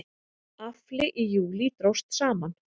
Afli í júlí dróst saman